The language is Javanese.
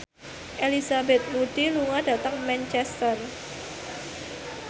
Elizabeth Moody lunga dhateng Manchester